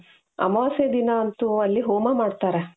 ಅಮಾವಾಸ್ಯೆ ದಿನ ಅಂತು ಅಲ್ಲಿ ಹೋಮ ಮಾಡ್ತಾರೆ .